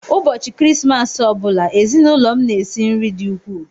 Ụbọchị Krismas ọ bụla, ezinụlọ m na-esi nri dị ukwuu.